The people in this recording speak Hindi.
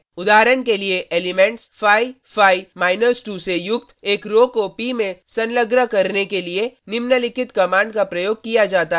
उदाहरण के लिए एलिमेंट्स 5 5 2 से युक्त एक रो को p में संलग्न करने के लिए निम्नलिखित कमांड का प्रयोग किया जाता है: